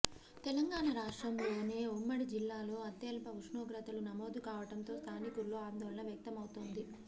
తెలంగాణరాష్ట్రం లోనే ఉమ్మడి జిల్లాలో అత్యల్ప ఉష్ణోగ్రతలు నమోదు కావడంతో స్థానికుల్లో ఆందోళన వ్యక్తమవుతోంది